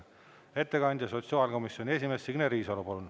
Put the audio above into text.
Ettekandja sotsiaalkomisjoni esimees Signe Riisalo, palun!